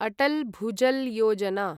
Atal Bhujal Yojana